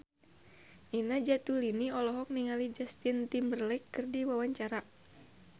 Nina Zatulini olohok ningali Justin Timberlake keur diwawancara